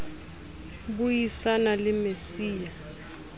bui sana le mec ya